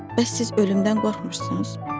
Bəs siz ölümdən qorxmursunuz?